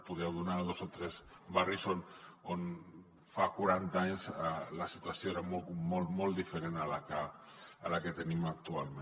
podria citar dos o tres barris on fa quaranta anys la situació era molt diferent a la que tenim actualment